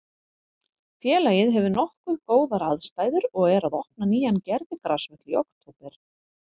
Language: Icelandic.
Félagið hefur nokkuð góðar aðstæður og er að opna nýjan gervigrasvöll í október.